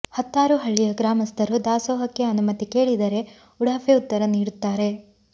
ಹತ್ತಾರು ಹಳ್ಳಿಯ ಗ್ರಾಮಸ್ಥರು ದಾಸೋಹಕ್ಕೆ ಅನುಮತಿ ಕೇಳಿದರೆ ಉಡಾಫೆ ಉತ್ತರ ನೀಡುತ್ತಾರೆ